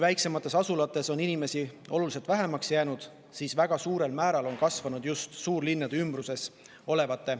Väiksemates asulates on inimesi oluliselt vähemaks jäänud ja väga suurel määral on elanike arv kasvanud just suurlinnade ümbruses.